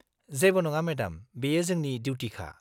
जेबो नङा मेडाम, बेयो जोंनि डिउटिखा।